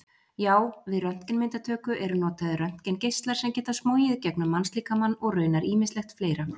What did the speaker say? Já, við röntgenmyndatöku eru notaðir röntgengeislar sem geta smogið gegnum mannslíkamann og raunar ýmislegt fleira.